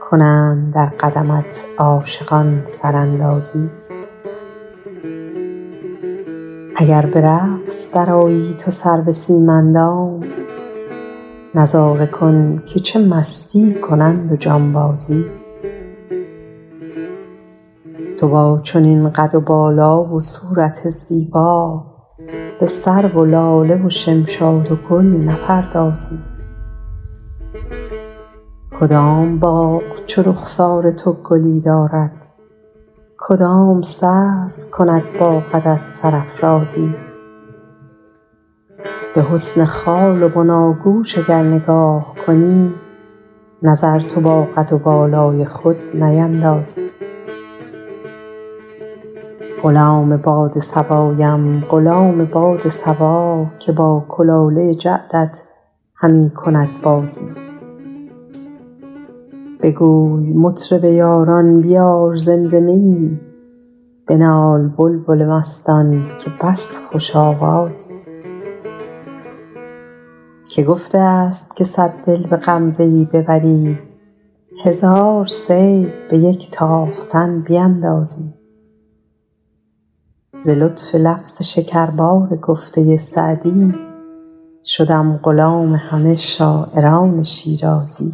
کنند در قدمت عاشقان سراندازی اگر به رقص درآیی تو سرو سیم اندام نظاره کن که چه مستی کنند و جانبازی تو با چنین قد و بالا و صورت زیبا به سرو و لاله و شمشاد و گل نپردازی کدام باغ چو رخسار تو گلی دارد کدام سرو کند با قدت سرافرازی به حسن خال و بناگوش اگر نگاه کنی نظر تو با قد و بالای خود نیندازی غلام باد صبایم غلام باد صبا که با کلاله جعدت همی کند بازی بگوی مطرب یاران بیار زمزمه ای بنال بلبل مستان که بس خوش آوازی که گفته است که صد دل به غمزه ای ببری هزار صید به یک تاختن بیندازی ز لطف لفظ شکربار گفته سعدی شدم غلام همه شاعران شیرازی